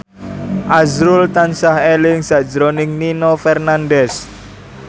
azrul tansah eling sakjroning Nino Fernandez